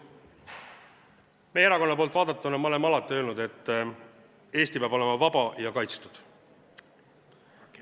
Meie erakonna poolt vaadatuna oleme alati öelnud, et Eesti peab olema vaba ja kaitstud.